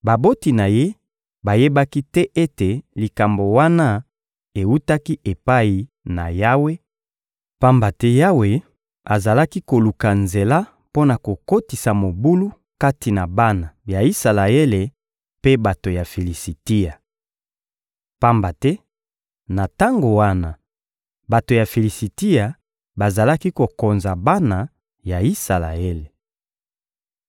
Baboti na ye bayebaki te ete likambo wana ewutaki epai na Yawe, pamba te Yawe azalaki koluka nzela mpo na kokotisa mobulu kati na bana ya Isalaele mpe bato ya Filisitia. Pamba te na tango wana, bato ya Filisitia bazalaki kokonza bana ya Isalaele.